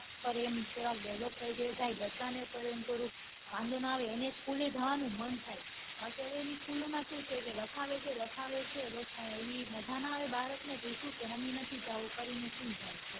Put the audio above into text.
પન એમ થોડા develop થઈ જાય બચ્ચાને પન એમ થોડુક વાંઘો ન આવે એને school લે જવાનું મન થાય કારણ કે હવે એની school માં શું છે લખાવે છે લખાવે છે બસ કાંઈ એવી મજા ના આવે બાળક ને તે શું કે મમ્મી નથી જવું કરીને સુઈ જાય